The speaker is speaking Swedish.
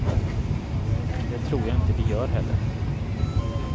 Det tror jag inte vi gör heller.